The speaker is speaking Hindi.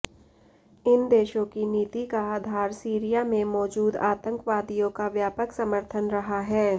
इन देशों की नीति का आधार सीरिया में मौजूद आतंकवादियों का व्यापक समर्थन रहा है